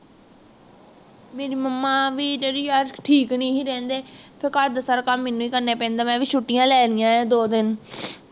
ਮੇਰੀ momma ਵੀ ਜੇੜੀ ਅੱਜ ਕਲ ਠੀਕ ਨਹੀਂ ਸੀ ਰਹਿੰਦੇ ਫਿਰ ਘਰ ਦਾ ਸਾਰਾ ਕੰਮ ਮੈਨੂੰ ਹੀ ਕਰਨਾ ਪੈਂਦਾ ਮੈਂ ਵੀ ਛੁੱਟੀਆਂ ਲੈ ਲਿਆ ਦੋ ਦਿਨ